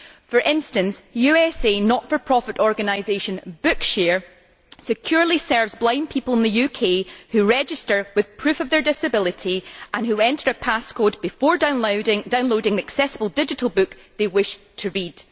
For instance, the US not for profit organisation Bookshare securely serves blind people in the UK who register with proof of their disability and who enter a pass code before downloading an accessible digital book they wish to read.